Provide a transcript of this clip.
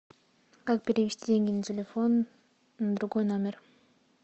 как перевести деньги на телефон на другой номер